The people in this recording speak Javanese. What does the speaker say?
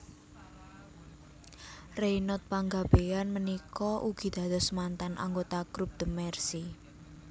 Reynold Panggabean punika ugi dados mantan anggota group The Mercy